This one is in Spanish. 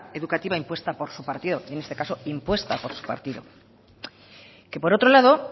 educativa impuesta por su partido y en este caso impuesta por su partido que por otro lado